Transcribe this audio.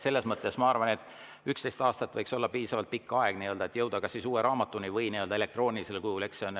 Selles mõttes, ma arvan, 11 aastat võiks olla piisavalt pikk aeg, et jõuda uue raamatuni või elektroonilisel kujul.